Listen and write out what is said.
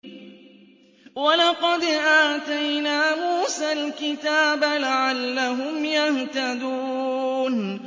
وَلَقَدْ آتَيْنَا مُوسَى الْكِتَابَ لَعَلَّهُمْ يَهْتَدُونَ